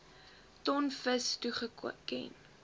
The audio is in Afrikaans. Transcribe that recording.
ton vis toegeken